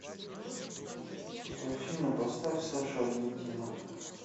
афина поставь саша аргентина